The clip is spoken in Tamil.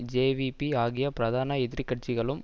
ஜேவிபி ஆகிய பிரதான எதிர் கட்சிகளும்